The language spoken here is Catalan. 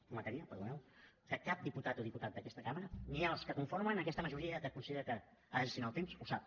prometria perdoneu que cap diputat o diputada d’aquesta cambra ni els que conformen aquesta majoria que considera que ha de gestiona el temps ho sap